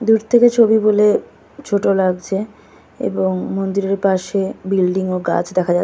''দূর থেকে''''ছবি বলে ছোট লাগছে এবং মন্দিরের পাশে বিল্ডিং ও গাছ দেখা যাচ্ছে।''